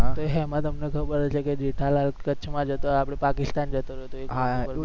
તો એમાં તમને ખબર હશે કે જેઠાલાલ કચ્છમાં જતો આપણે પાકિસ્તાન જતો રયો તો એ